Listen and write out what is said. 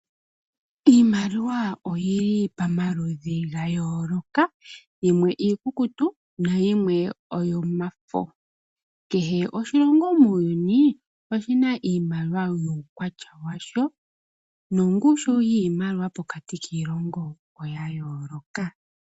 Iimaliwa oyili pomaludhi ga yooloka, yimwe iikukutu yimwe oyomafo . Kehe oshilongo muuyuni oshina iimaliwa yuukwatya washo nongushu yiimaliwa pokati kiilongo oya yooloka.